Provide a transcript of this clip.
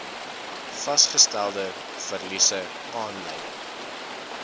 vasgestelde verliese aanleiding